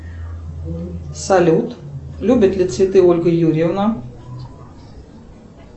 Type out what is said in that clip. салют любит ли цветы ольга юрьевна